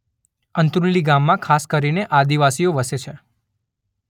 અંત્રુલી ગામમાં ખાસ કરીને આદિવાસીઓ વસે છે.